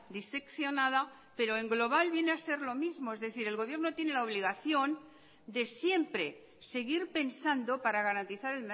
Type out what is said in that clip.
diseccionada pero en global viene a ser lo mismo es decir el gobierno tiene la obligación de siempre seguir pensando para garantizar